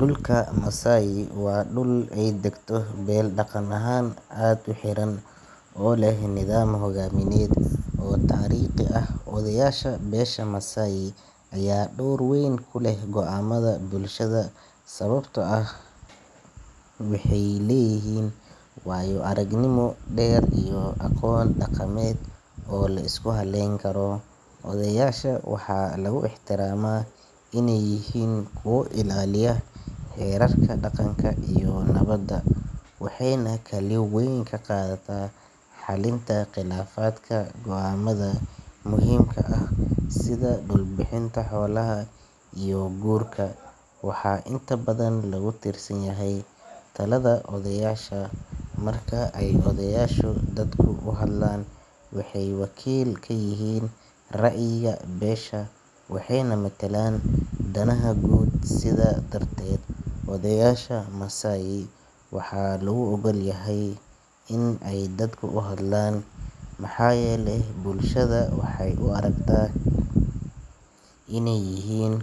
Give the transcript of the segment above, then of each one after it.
Dulka Masai waa dul ey dagto bel daqan ahaan as uxiran oo leh nidaam hogaamined oo tariiqi ah. Odayaasha besha Masai aya door weyn kuleh goaamada bulshada sawabto ah waxey leyihin waayo aragnimo deer iyo aqoon daqamed oo liskuhaleyn karo. Odeyaasha waxaa laguixtiraama in ey yihiin kuwa ilaaliya xerarka daqanka iyo nabada waxeyna kwlin weyn kaqadataa xalinta qilafaadka goaamada muhiimka ah sida dulbihinta hoolaha iyo guurka. Waxaa intabadan lagutirsanyahy talada oyadaasha. Marka ey odayaasha dadku uhadlaan waxey wakiil kayihin raayiga beesha waxeyna matalaan danaha guud sidaa darteed odeyaasha masai waxa lo ogolyahay in ey dadku uhadlaan maxaa yele bulshada waxey uaragtaa in ey yihiin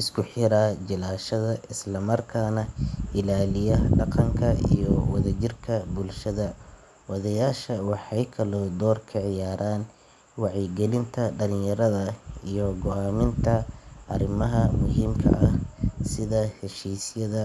iskuxira jilaashada islamarkaa neh ilaaliya daqanka iyo wadajirka bulshada. Odeyaasha waxey kale oo door kaciyaaran wacyigalinta daliyarada iyo goaaminta arimaha muhiimka ah sida heshiisyasda.